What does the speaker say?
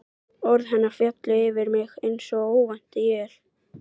Orð hennar féllu yfir mig einsog óvænt él.